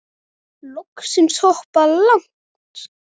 Loksins hoppað. langt!